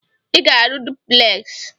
Ị ga-arụ dupleksị!